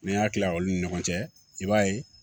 N'an y'a kila olu ni ɲɔgɔn cɛ i b'a ye